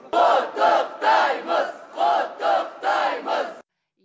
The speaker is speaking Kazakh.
құттықтаймыз құттықтаймыз